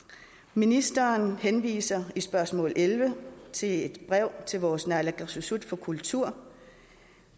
ministeren henviser i spørgsmål elleve til et brev til vores nalaakkersuisoq for kultur